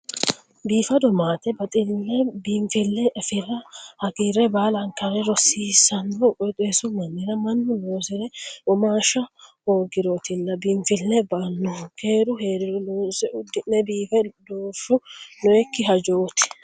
Biifado maate baxile biinfile affira hagiire baalankare rosiisano qooxeessu mannira mannu loosire womaashsha hoogirotilla biinfile ba"anohu, keeru heeriro loonse uddi'ne biifa doorshu nooyikki hajoti.